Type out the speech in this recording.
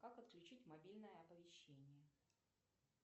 как отключить мобильное оповещение